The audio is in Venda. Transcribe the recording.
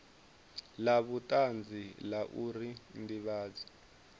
la vhutanzi la uri ndivhadzo